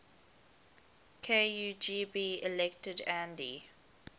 kugb elected andy